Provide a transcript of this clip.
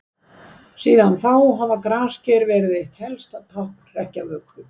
Síðan þá hafa grasker verið eitt helsta tákn hrekkjavöku.